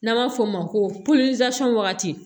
N'an b'a f'o ma ko wagati